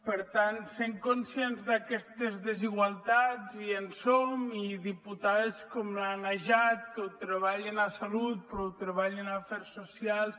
per tant sent conscients d’aquestes desigualtats i en som i diputades com la najat que ho treballen a salut però ho treballen a afers socials